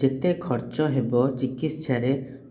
ଯେତେ ଖର୍ଚ ହେବ ଚିକିତ୍ସା ରେ